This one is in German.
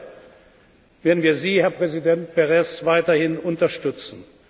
Und deshalb werden wir Sie, Herr Präsident Peres, weiterhin unterstützen.